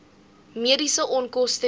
mediese onkoste dele